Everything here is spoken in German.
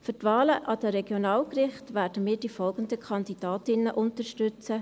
Für die Wahlen an die Regionalgerichte werden wir die folgenden Kandidatinnen unterstützen: